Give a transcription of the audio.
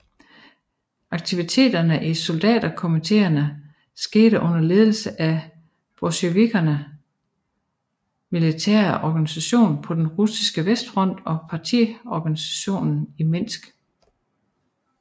Aktiviteterne i soldaterkomiteerne skete under ledelse af bolsjevikernes militære organisation på den russiske vestfront og partiorganisationen i Minsk